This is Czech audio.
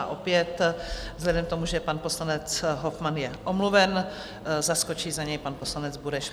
A opět vzhledem k tomu, že pan poslanec Hofmann je omluven, zaskočí za něj pan poslanec Bureš.